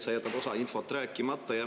Sa jätad osa infot rääkimata.